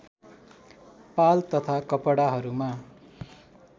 पाल तथा कपडाहरूमा